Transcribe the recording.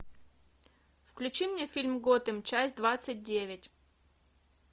включи мне фильм готэм часть двадцать девять